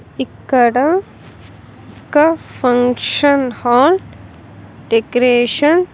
ఇక్కడ ఒక function hall decoration .